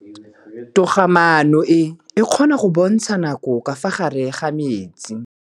Toga-maanô e, e kgona go bontsha nakô ka fa gare ga metsi.